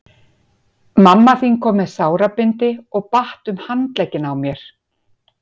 Mamma þín kom með sárabindi og batt um handlegginn á mér.